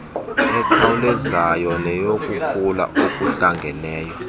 ekhawulezayo neyokukhula okuhlangeneyo